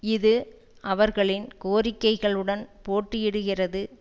இது அவர்களின் கோரிக்கைகளுடன் போட்டியிடுகிறது